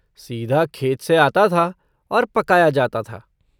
सीधा खेत से आता था और पकाया जाता था।